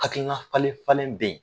Hakilina falen fanlen bɛ ye.